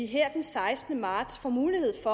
her den sekstende marts får mulighed